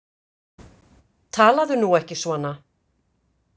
Talaðu nú ekki svona!